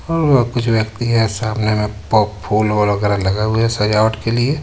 औ कुछ व्यक्ति है सामने में पो फूल वूल वगैरा लगा हुआ है सजावट के लिए.